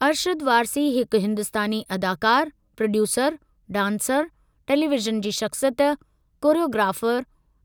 अरशद वारसी हिकु हिंदुस्तानी अदाकार, प्रोड्यूसर, डांसर, टेलीवीज़न जी शख्सियत, कोरियोग्राफर